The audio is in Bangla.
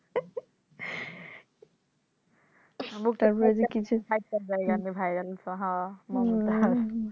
. Mumtaz